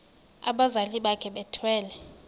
abazali bakhe bethwele